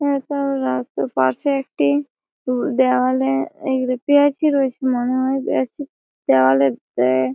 এটা রাস্তার পাশে একটি উ দেয়ালে এই রিপেয়ার টি রয়েছে মনে হয় । দেওয়ালে এ--